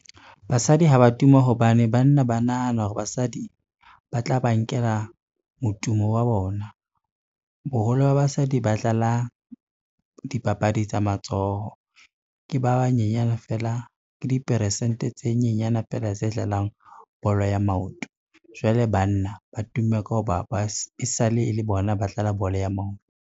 Basadi ha ba tuma hobane banna ba nahana hore basadi ba tla ba nkela motumo wa bona. Boholo ba basadi ba dlala dipapadi tsa matsoho. Ke diperesente tse nyenyana feela tse dlalang bolo ya maoto, jwale banna ba tumme ka ho ba e sale e le bona ba dlala bolo ya maoto.